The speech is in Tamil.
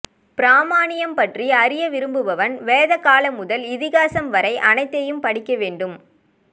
பிராமணியம் பற்றி அரிய விரும்புபவன் வேதகாலம் முதல் இதிகாசம் வரை அனைத்தையும் படிக்க வேண்டும்